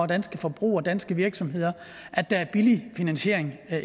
danske forbrugere og danske virksomheder at der er billig finansiering